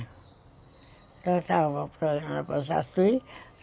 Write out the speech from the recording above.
É. Então, estávamos na banca aqui.